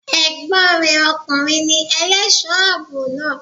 Ègbón re okùnrin ni elésòó àbò naa